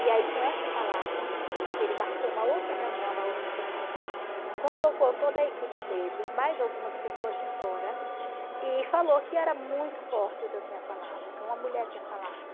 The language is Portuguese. E aí, com essa palavra, ele marcou uma outra reunião na outra semana, convocou toda a equipe dele e mais algumas pessoas de fora e falou que era muito forte o que eu tinha falado, o que uma mulher tinha falado.